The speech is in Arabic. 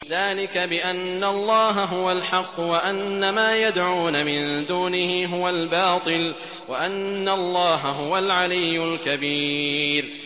ذَٰلِكَ بِأَنَّ اللَّهَ هُوَ الْحَقُّ وَأَنَّ مَا يَدْعُونَ مِن دُونِهِ هُوَ الْبَاطِلُ وَأَنَّ اللَّهَ هُوَ الْعَلِيُّ الْكَبِيرُ